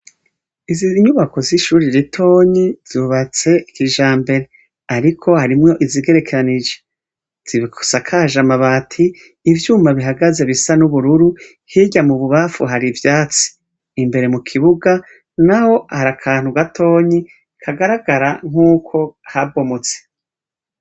Izinyubako zishure ritoyi zubatse kijambere ,ariko harimwo izigerekeranije zisakaje amabati ivyuma bihagaze bisa nubururu hirya mububamfu hari ivyatsi ,imbere mu kibuga naho hari akantu gatoyi kagaragara nkuko habomotse.